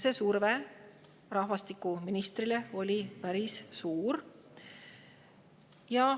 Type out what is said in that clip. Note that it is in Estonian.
Surve rahvastikuministrile oli päris suur.